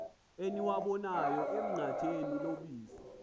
eniwabonayo enqatheni lobusi